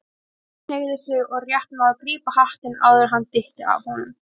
Maggi hneigði sig og rétt náði að grípa hattinn áður en hann dytti af honum.